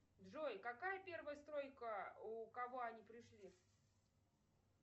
джой какая первая стройка у кого они пришли